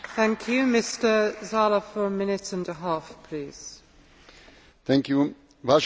Vážení kolegovia, pán Komisár, Rusko si stále vyžaduje dvojaký prístup.